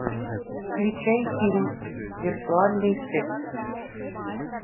включай фильм виртуальный секс